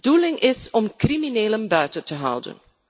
De bedoeling is om criminelen buiten te houden.